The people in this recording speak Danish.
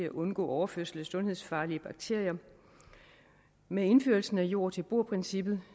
at undgå overførsel af sundhedsfarlige bakterier og med indførelsen af fra jord til bord princippet